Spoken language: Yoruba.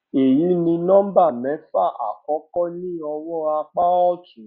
èyí ni nọmbà mẹfà àkọkọ ní ọwọn apá òtún